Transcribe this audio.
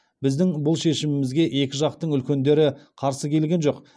біздің бұл шешімімізге екі жақтың үлкендері қарсы келген жоқ